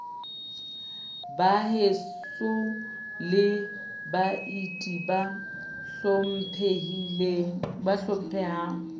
baheso le baeti ba hlomphehang